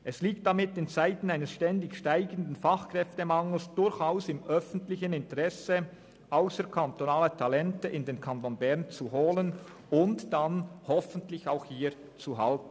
Es liegt damit in Zeiten eines stetig steigenden Fachkräftemangels durchaus im öffentlichen Interesse, ausserkantonale Talente in den Kanton Bern zu holen und hoffentlich auch hier zu halten.